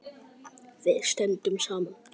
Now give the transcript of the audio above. Við stöndum saman.